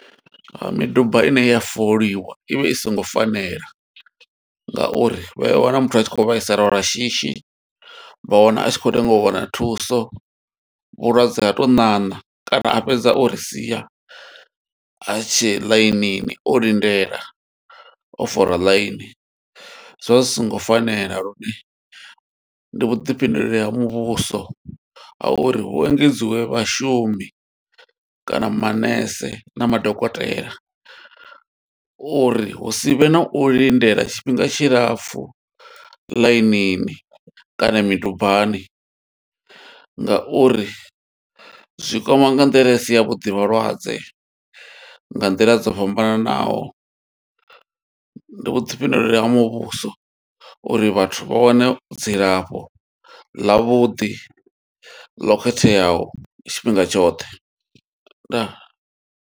Miduba ine ya foliwa ivha i songo fanela nga uri vha ya wana muthu a tshi khou vhaisala lwa shishi, vha wana a tshi khou lenga u wana thuso. Vhulwadze ha tou ṋaṋa kana a fhedza o ri sia, a tshe ḽainini o lindela. O fola ḽaini, zwivha zwi songo fanela lune ndi vhuḓifhinduleli ha muvhuso, a uri hu engedziwe vhashumi kana manese na madokotela. Uri hu sivhe na u lindela tshifhinga tshilapfu ḽainini, kana midubani. Nga uri zwi kwama nga nḓila isi ya vhuḓi vhalwadze nga nḓila dzo fhambananaho. Ndi vhuḓifhinduleli ha muvhuso uri vhathu vha wane dzilafho ḽa vhuḓi ḽo khetheaho, tshifhinga tshoṱhe. Ndaa.